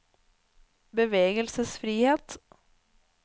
bevegelsesfrihet